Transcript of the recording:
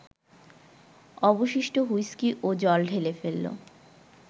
অবশিষ্ট হুইস্কি ও জল ঢেলে ফেলল